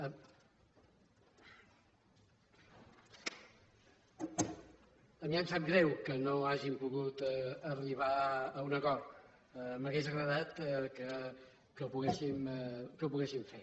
a mi em sap greu que no hàgim pogut arribar a un acord m’hauria agradat que ho poguéssim fer